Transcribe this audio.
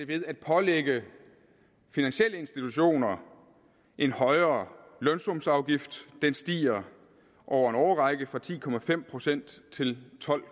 ved at pålægge finansielle institutioner en højere lønsumsafgift den stiger over en årrække fra ti procent til tolv